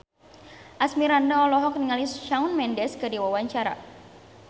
Asmirandah olohok ningali Shawn Mendes keur diwawancara